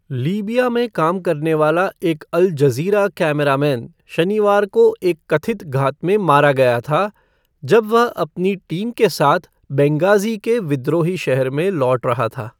Libya में काम करने वाला एक अल जज़ीरा कैमरामैन शनिवार को एक कथित घात में मारा गया था, जब वे अपनी टीम के साथ बेंगाज़ी के विद्रोही शहर में लौट रहा था।